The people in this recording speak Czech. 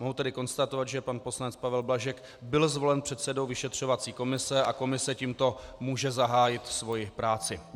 Mohu tedy konstatovat, že pan poslanec Pavel Blažek byl zvolen předsedou vyšetřovací komise a komise tímto může zahájit svoji práci.